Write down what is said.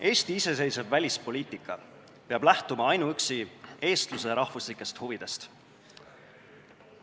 Eesti iseseisev välispoliitika peab lähtuma ainuüksi eestluse rahvuslikest huvidest.